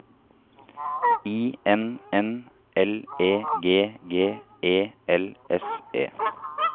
I N N L E G G E L S E